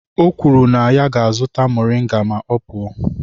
O kwuru na ya ga-azụta moringa ma ọ pụọ.